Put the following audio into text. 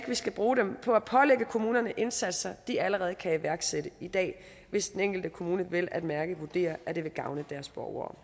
vi skal bruge dem på at pålægge kommunerne indsatser de allerede kan iværksætte i dag hvis den enkelte kommune vel at mærke vurderer at det vil gavne deres borgere